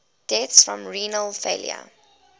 deaths from renal failure